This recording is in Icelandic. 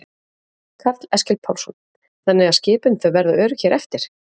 Karl Eskil Pálsson: Þannig að skipin þau verða örugg hér eftir?